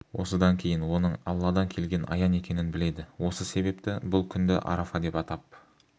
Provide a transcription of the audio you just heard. осыдан кейін оның алладан келген аян екенін біледі осы себепті бұл күнді арафа деп атап